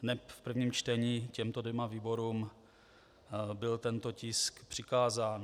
Hned v prvním čtení těmto dvěma výborům byl tento tisk přikázán.